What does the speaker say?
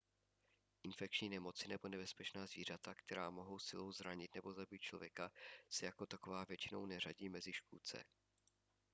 infekční nemoci nebo nebezpečná zvířata která mohou silou zranit nebo zabít člověka se jako taková většinou neřadí mezi škůdce